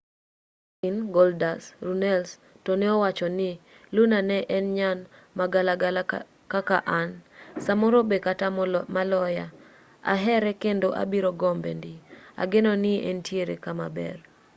dustin goldust” runnels to ne owacho ni luna ne en nyan ma galagala kaka an. .. samoro be kata maloya. .. ahere kendo abiro gombe ndi. .. ageno ni entiere kama ber